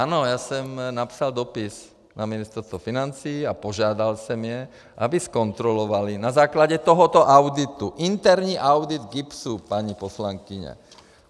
Ano, já jsem napsal dopis na Ministerstvo financí a požádal jsem je, aby zkontrolovali na základě tohoto auditu interní audit GIBS, paní poslankyně.